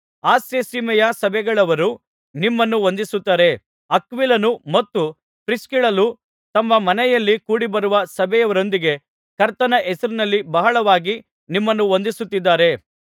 ಆಸ್ಯಸೀಮೆಯ ಸಭೆಗಳವರು ನಿಮ್ಮನ್ನು ವಂದಿಸುತ್ತಾರೆ ಅಕ್ವಿಲನೂ ಮತ್ತು ಪ್ರಿಸ್ಕಿಲ್ಲಳೂ ತಮ್ಮ ಮನೆಯಲ್ಲಿ ಕೂಡಿ ಬರುವ ಸಭೆಯವರೊಂದಿಗೆ ಕರ್ತನ ಹೆಸರಿನಲ್ಲಿ ಬಹಳವಾಗಿ ನಿಮ್ಮನ್ನು ವಂದಿಸುತ್ತಿದ್ದಾರೆ